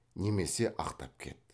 немесе ақтап кет